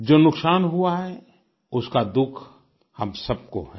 जो नुकसान हुआ है उसका दुःख हम सबको है